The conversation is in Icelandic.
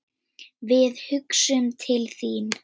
Við hugsum til þín.